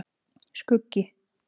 Skuggi